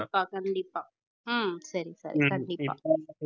கண்டிப்பா கண்டிப்பா ஹம் சரி சரி கண்டிப்பா